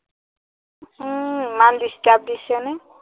উম ইমান disturb দিছে নে?